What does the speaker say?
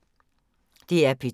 DR P2